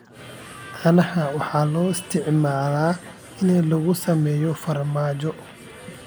caanaha waxaa loo isticmaalaa in lagu sameeyo farmaajo.